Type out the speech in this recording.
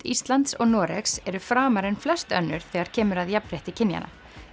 Íslands og Noregs eru framar en flest önnur þegar kemur að jafnfrétti kynjanna